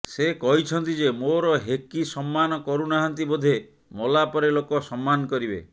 ସେ କହିଛନ୍ତି ଯେ ମୋର ହେକି ସମ୍ମାନ କରୁନାହାନ୍ତି ବୋଧେ ମଲା ପରେ ଲୋକ ସମ୍ମାନ କରିବେ